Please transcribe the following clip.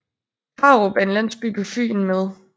Krarup er en landsby på Fyn med